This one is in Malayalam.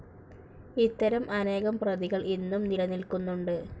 ഇത്തരം അനേകം പ്രതികൾ ഇന്നും നിലനിൽക്കുന്നുണ്ട്.